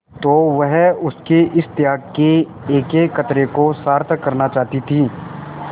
तो वह उसके इस त्याग के एकएक कतरे को सार्थक करना चाहती थी